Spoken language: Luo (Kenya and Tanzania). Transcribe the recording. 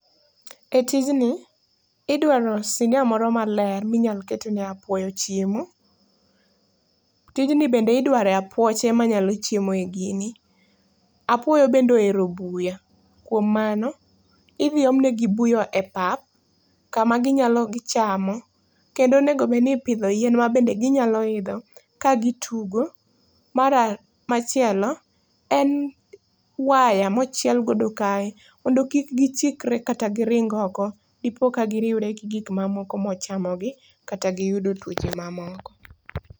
E tijni, idwaro sinia moro maler minyal ketne apuoyo chiemo. Tijni bende idware apuoche manyalo chiemo e gini. Apuoyo bende ohero buya, kuom mano, idhi omnegi buya e pap, kama ginyalo gichamo. Kendo onego obedni ipidho yien maginyalo idho ka gitugo. Machielo, en waya mochielgodo kae mondo kik gichikre kata giring oko dipo ka giriwre gi gikmamoko mochamogi, kata giyudo tuoche mamoko.